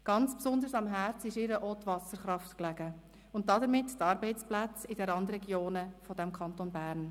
Ganz besonders lag ihr auch die Wasserkraft am Herzen und damit die Arbeitsplätze in den Randregionen des Kantons Bern.